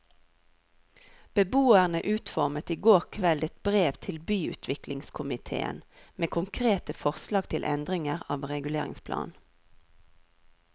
Beboerne utformet i går kveld et brev til byutviklingskomitéen med konkrete forslag til endringer av reguleringsplanen.